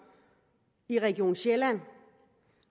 i region sjælland